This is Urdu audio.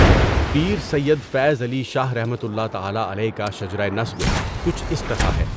پیر سید فیض علی شاہ رحمۃ اللہ تعالی علیہ کا شجرہ نسب کچھ اس طرح ہے۔